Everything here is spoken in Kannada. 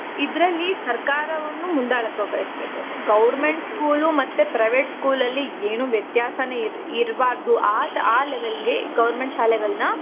ಇದ್ರಲ್ಲಿ ಸರ್ಕಾರವನ್ನು ಮುಂದಾಳತ್ವ ವಹಿಸ್ಬೇಕು government school ಮತ್ತೆ private school ಅಲ್ಲಿ ಏನು ವ್ಯತ್ಯಾಸನೆ ಇರ್ಬಾರ್ದು ಆ ತರ ಆ level ಗೆ government ಶಾಲೆಗಳನ್ನ.